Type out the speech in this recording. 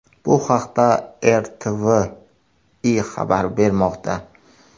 Bu haqda RTVI xabar bermoqda .